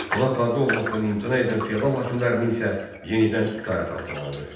Ona tabe olmaqdan imtina edən feodal hakimlərini isə yenidən itaət altına aldı.